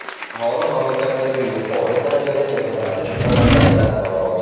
Aholi mamlakatdagi yuqori darajali kasallanish holatlaridan norozi.